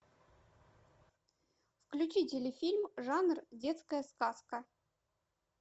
включи телефильм жанр детская сказка